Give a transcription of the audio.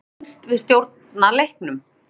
Mér fannst við stjórna leiknum.